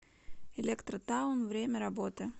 электротаун время работы